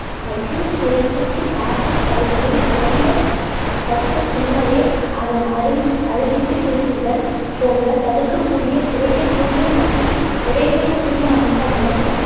மற்று சுழற்சிக்கு plastic பைகளின் குறைந்த பட்சத்தின்மையை அதை அறிந்~ அறிதிட்டு குறிப்பிடுதல் போன்ற தடுக்கக்கூடிய குறைக்கக்கூடிய மற்றும் நிறைவேற்றக் கூடிய அம்சங்களை